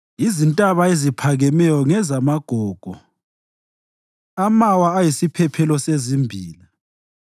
Izintaba eziphakemeyo ngezamagogo, amawa ayisiphephelo sezimbila.